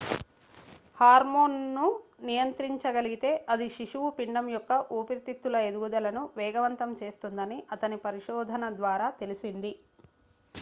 హార్మోన్ను నియంత్రించగలిగితే అది శిశువు పిండం యొక్క ఊపిరితిత్తుల ఎదుగుదలను వేగవంతం చేస్తుందని అతని పరిశోధన ద్వారా తెలిసింది